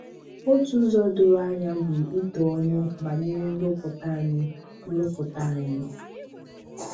Otu ụzọ doro anya bụ ito ọnụ banyere nrụpụta anyi. nrụpụta anyi.